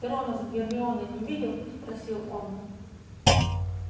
ты рона с гермионой не видел спросил он